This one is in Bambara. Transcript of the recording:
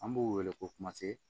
An b'u wele ko kumase